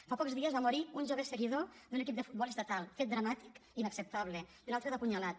fa pocs dies va morir un jove seguidor d’un equip de futbol estatal fet dramàtic i inacceptable i un altre d’apunyalat